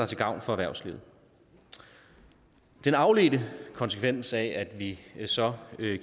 til gavn for erhvervslivet den afledte konsekvens af at vi så